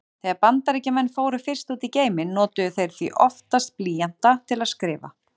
Þegar Bandaríkjamenn fóru fyrst út í geiminn notuðu þeir því oftast blýanta til að skrifa.